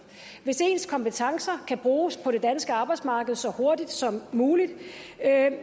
hvis ens kompetencer kan bruges på det danske arbejdsmarked så hurtigt som muligt